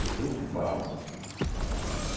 Dezoito palmo.